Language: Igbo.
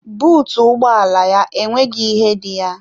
Bụụtụ ụgbọ ala ya enweghị ihe dị ya.